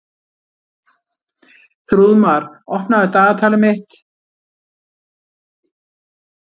Þrúðmar, opnaðu dagatalið mitt.